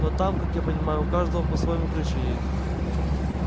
но там как я понимаю у каждого по-своему крыша едет